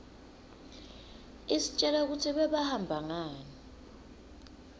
istjela kutsi bebahamba ngani